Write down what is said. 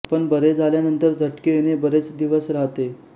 पण बरे झाल्यानंतर झटके येणे बरेच दिवस राहते